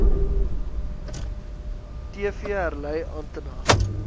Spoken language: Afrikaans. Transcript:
tv herlei antenna